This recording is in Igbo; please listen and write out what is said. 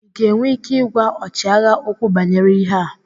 Ị ga-enwe ike ịgwa ọchịagha okwu banyere ịhe a?